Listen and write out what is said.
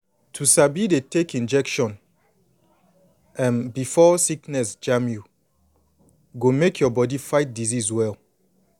to sabi dey take injection um before sickness jam you go make your body fight disease well